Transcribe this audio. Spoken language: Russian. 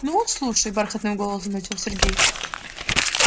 ну слушай бархатным голосом начал сергей